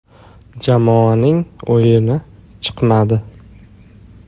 Jamoaning o‘yini chiqmadi.